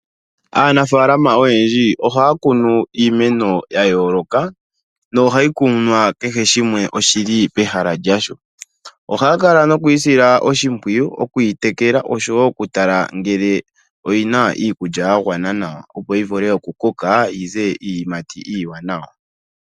Aanafalama oyendji ohaa kunu iimeno yayooloka nohayi kunwa kehe shimwe oshili pehala lyasho. Ohaa kala noku yisila oshimpwiyu okwii tekela osho woo okutala ngele oyina iikulya yagwana nawa, opo yivule oku koka yize iiyimati iiwanawa.